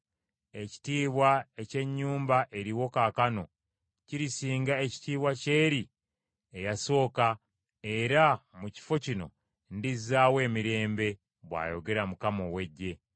‘Ekitiibwa eky’ennyumba eriwo kaakano, kirisinga ekitiibwa ky’eri eyasooka era mu kifo kino ndizzaawo emirembe,’ bw’ayogera Mukama ow’Eggye.”